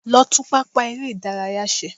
Lọ tún pápá eré-ìdárayá ṣe.